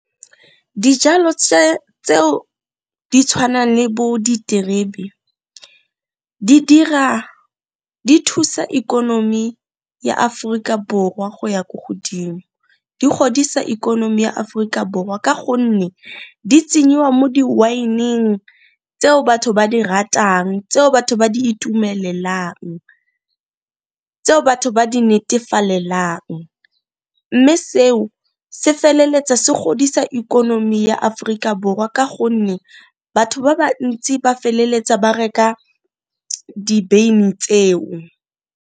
Dijalo tseo di tshwanang le bo diterebe di thusa ikonomi ya Aforika Borwa go ya ko godimo, di godisa ikonomi ya Aforika Borwa ka gonne di tsenyiwa mo di-wine-ng tseo batho ba di ratang, tseo batho ba di itumelelang, tseo batho ba di netefalelang, mme seo se feleletsa se godisa ikonomi ya Aforika Borwa ka gonne batho ba bantsi ba feleletsa ba reka di beine tseo.